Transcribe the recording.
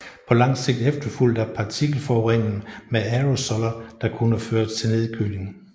På langt sigt efterfulgt af partikelforurening med aerosoller der kunne føre til nedkøling